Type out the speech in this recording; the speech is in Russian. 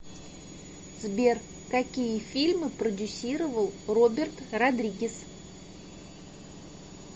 сбер какие фильмы продюсировал роберт родригес